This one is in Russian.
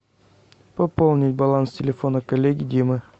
пополнить баланс телефона коллеги димы